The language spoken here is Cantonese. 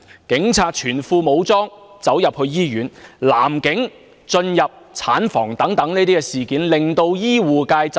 警察全副武裝進入醫院、男警進入產房等事件，均令醫護界震怒。